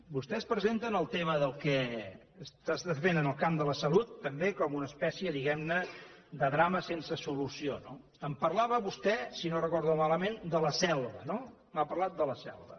vostès presenten el tema del que s’està fent en el camp de la salut també com una espècie diguem ne de drama sense solució no em parlava vostè si no ho recordo malament de la selva no m’ha parlat de la selva